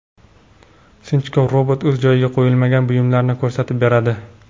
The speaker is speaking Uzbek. Sinchkov robot o‘z joyiga qo‘yilmagan buyumlarni ko‘rsatib beradi.